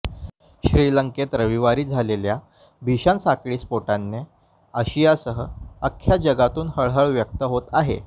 श्रीलंकेत रविवारी झालेल्या भीषण साखळी स्फोटांने आशियासह अख्ख्या जगातून हळहळ व्यक्त होते आहे